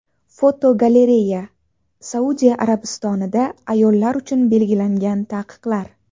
Fotogalereya: Saudiya Arabistonida ayollar uchun belgilangan taqiqlar.